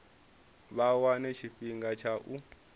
vha wane tshifhinga tsha u